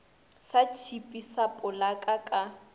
sa tšhipi sa polaka ka